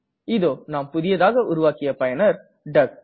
இதோ நாம் புதியதாக உருவாக்கிய பயனர் டக்